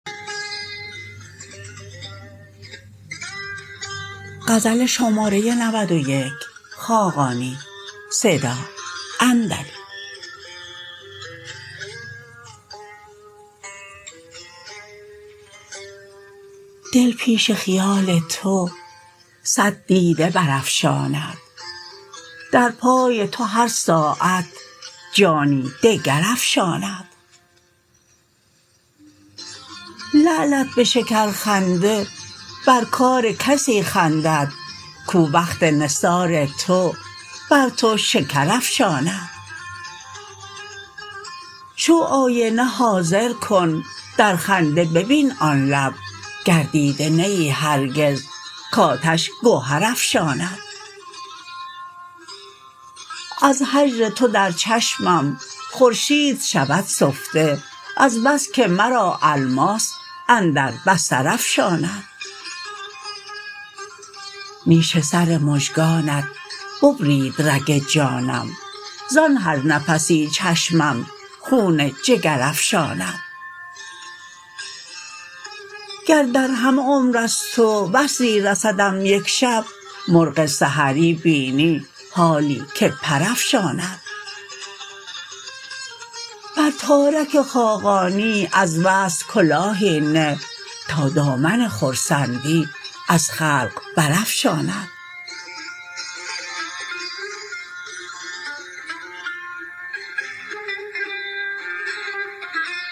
دل پیش خیال تو صد دیده برافشاند در پای تو هر ساعت جانی دگر افشاند لعلت به شکرخنده بر کار کسی خندد کو وقت نثار تو بر تو شکر افشاند شو آینه حاضر کن در خنده ببین آن لب گر دیده نه ای هرگز کاتش گهر افشاند از هجر تو در چشمم خورشید شود سفته از بس که مرا الماس اندر بصر افشاند نیش سر مژگانت ببرید رگ جانم زان هر نفسی چشمم خون جگر افشاند گر در همه عمر از تو وصلی رسدم یک شب مرغ سحری بینی حالی که پر افشاند بر تارک خاقانی از وصل کلاهی نه تا دامن خرسندی از خلق برافشاند